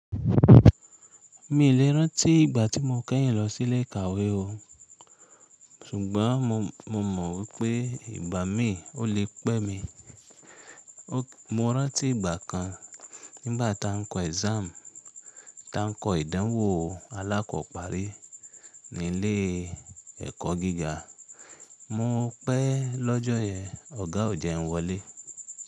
Mi i lè rántí ìgbà tí mo kẹ́yìn lọ sí ilé ìkàwé o, ṣùgbọ́n mo mọ̀ wípé ìgbà mí o lè pẹ́ mi. Mo rántí ìgbà kan, nígbà tá ń kọ exam tá ń kọ ìdánwò Alákọ́parí ní ilé ẹ̀kọ́ gíga, mo pẹ́ e lọ́jọ́ yẹn, ọ̀gá ò jẹ́ n wọlé.